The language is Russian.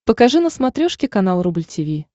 покажи на смотрешке канал рубль ти ви